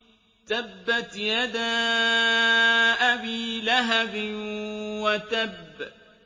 تَبَّتْ يَدَا أَبِي لَهَبٍ وَتَبَّ